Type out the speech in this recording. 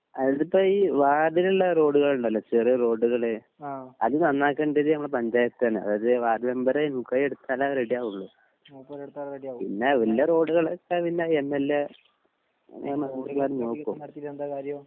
അതിപ്പോ ഈ വാർഡിളില റോഡുകളുണ്ടാലോ ചെറിയ റോഡുകൾ അത് നന്നാക്കണ്ടത് ഞമ്മളെ പഞ്ചായത്ത് തന്നെ അതായത് വാർഡ് മെമ്പർ മുൻകൈ എടുത്താലെ റെഡി ആവോളു പിന്നെ വല്യേ റോഡുകളിപ്പോ എം എൽ എ നോക്കും